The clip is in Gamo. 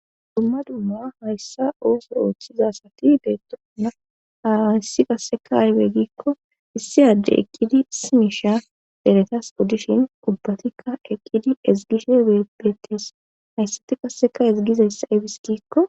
dumma dumma hayssa ooso ooththiza asati beettosona hayssi qasseka aybe giikko issi adde eqqidi simisha deretas oddishin ubbatikka eqqidi ezigishe bebeetis hayssati qasseka ezigizayssa aybis giikko